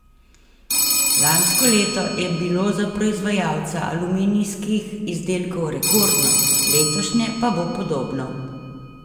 Lansko leto je bilo za proizvajalca aluminijskih izdelkov rekordno, letošnje pa bo podobno.